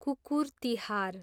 कुकुर तिहार